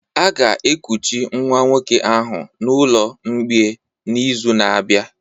A ga-ekuchi nwa nwoke ahụ n'ụlọ mgbei n'izu na-abịa